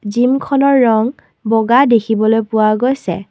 জিমখনৰ ৰং বগা দেখিবলৈ পোৱা গৈছে।